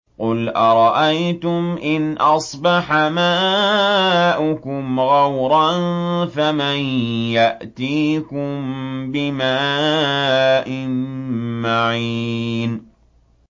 قُلْ أَرَأَيْتُمْ إِنْ أَصْبَحَ مَاؤُكُمْ غَوْرًا فَمَن يَأْتِيكُم بِمَاءٍ مَّعِينٍ